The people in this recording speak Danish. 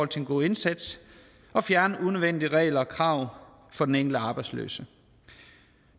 til en god indsats og fjerne unødvendige regler og krav for den enkelte arbejdsløse